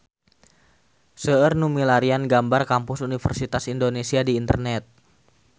Seueur nu milarian gambar Kampus Universitas Indonesia di internet